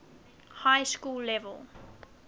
high school level